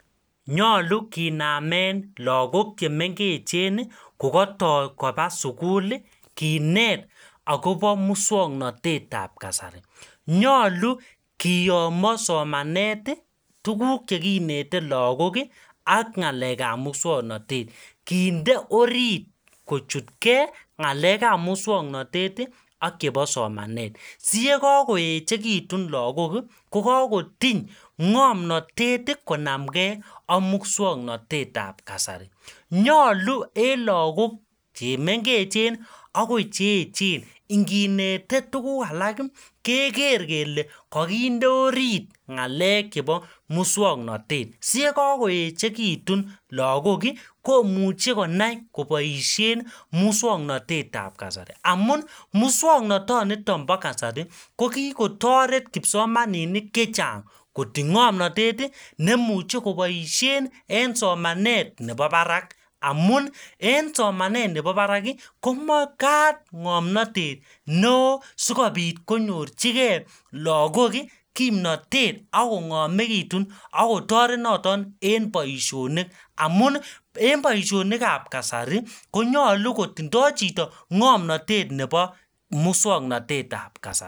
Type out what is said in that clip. Nyolu kinamen lagok che mengechen kokato koba sugul, kinet agobo muswoknatetab kasari. Nyalu kuyomo somanet, tuguk chekinete lagok ak ngelekab muswoknatet. Kinde orit kochutke ngalekab muswoknatet ak chebo somanet. Siye kakoechekitun lagok ko kokoti ngomnatet konamnge ak muswoknatetab kasari. Nyalu en lagok chemengechen agoi cheechen, nginete tuguk alak keger kele kakinde orit ngalek chebo muswoknatet. Siyekakoechekitun lagok komuche konai koboisien muswoknatetab kasari. Amun muswoknatonito bo kasari ko kikotaret kipsomaninik che chang koti ngomnatet ne muche koboisien en somanet nebo barak amun en somanet nebobarak komagat ngomnatet neo sikopit konyorchige lagok kimnatet agongomegitun ak kotaret noton en boisionik amun en boisionikab kasari konyalu kotindo chito ngomnatet nebo muswoknatetab kasari.